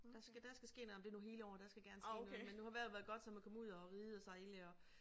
Der skal der skal ske noget ej men det nu hele året der skal gerne ske noget men nu har vejret været godt så man komme ud at ride og sejle og